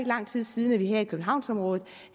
lang tid siden at vi her i københavnsområdet